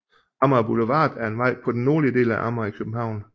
Amager Boulevard er en vej på den nordlige del af Amager i København